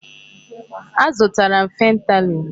Azụtara m fentanyl.